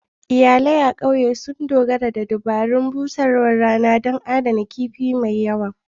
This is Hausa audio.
Iyalai a ƙauyen sun dogara da dabarun busarwar rana don adanawa da adana kifin mai yawa.